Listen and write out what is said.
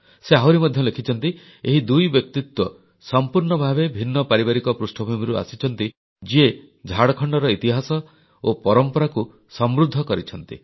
ସେ ଆହୁରି ମଧ୍ୟ ଲେଖିଛନ୍ତି ଏହି ଦୁଇ ବ୍ୟକ୍ତିତ୍ୱ ସମ୍ପୂର୍ଣ୍ଣ ଭାବେ ଭିନ୍ନ ପାରିବାରିକ ପୃଷ୍ଠଭୂମିରୁ ଆସିଛନ୍ତି ଯିଏ ଝାଡ଼ଖଣ୍ଡର ଇତିହାସ ଓ ପରମ୍ପରାକୁ ସମୃଦ୍ଧ କରିଯାଇଛନ୍ତି